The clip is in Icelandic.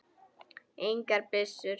Engar byssur.